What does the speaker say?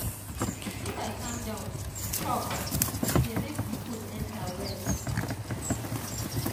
if i calm down chop e dey make the food enter well.